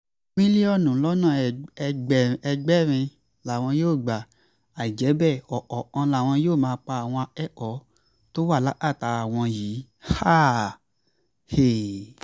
mílíọ̀nù lọ́nà ẹgbẹ̀rin làwọn yóò gba àìjẹ́ bẹ́ẹ̀ ọ̀kọ̀ọ̀kan làwọn yóò máa pa àwọn ẹ̀kẹ́kọ̀ọ́ tó wà lákàtà àwọn yìí